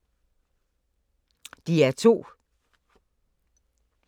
DR2